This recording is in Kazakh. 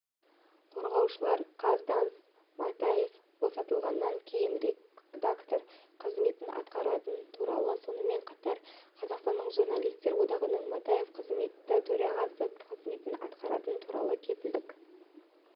қорғаушылар қаз данс матаевбосатылғаннан кейін редактор қызметін атқаратыны туралы сонымен қатар қазақстанның журналистер одағынан матаев қызметтегі төрағасы қызметін атқаратыны туралы кепілдік